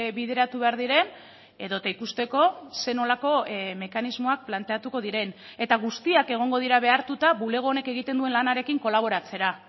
bideratu behar diren edota ikusteko zer nolako mekanismoak planteatuko diren eta guztiak egongo dira behartuta bulego honek egiten duen lanarekin kolaboratzera